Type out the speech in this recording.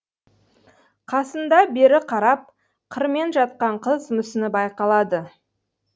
қасында бері қарап қырымен жатқан қыз мүсіні байқалады